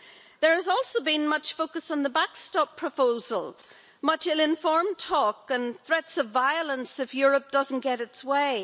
There has also been much focus on the backstop proposal, much ill-informed talk and threats of violence if Europe doesn't get its way.